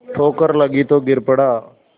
ठोकर लगी तो गिर पड़ा